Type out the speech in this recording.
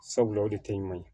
Sabula o de tɛ ɲuman ye